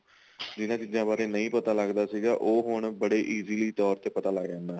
ਜਿਹਨਾ ਚੀਜ਼ਾਂ ਬਾਰੇ ਨਹੀਂ ਪਤਾ ਲੱਗਦਾ ਸੀਗਾ ਉਹ ਬੜੇ easily ਤੋਰ ਤੇ ਪਤਾ ਲੱਗ ਜਾਂਦਾ